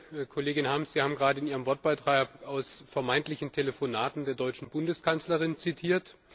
Geschätzte Kollegin Harms! Sie haben gerade in Ihrem Wortbeitrag aus vermeintlichen Telefonaten der deutschen Bundeskanzlerin zitiert.